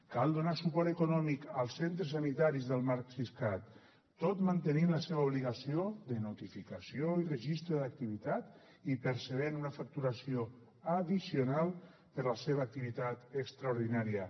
cal donar suport econòmic als centres sanitaris del marc siscat tot mantenint la seva obligació de notificació i registre d’activitat i percebent una facturació addicional per la seva activitat extraordinària